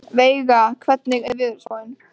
Veiga, hvernig er veðurspáin?